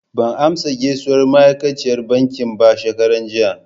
Ban amsa gaisuwar ma'aikaciyar bankin ba shekaran jiya.